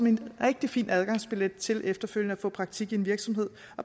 en rigtig fin adgangsbillet til efterfølgende at få praktik i en virksomhed